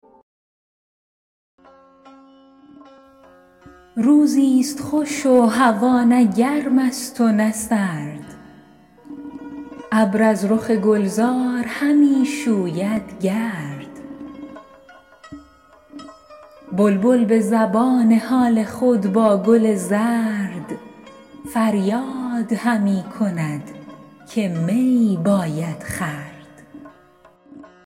روزی ست خوش و هوا نه گرم است و نه سرد ابر از رخ گلزار همی شوید گرد بلبل به زبان حال خود با گل زرد فریاد همی کند که می باید خورد